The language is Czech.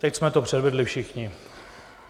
Teď jsme to předvedli všichni.